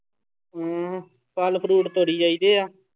ਹਮ ਫਲ fruit ਤੋੜੀ ਜਾਈਦੇ ਆ।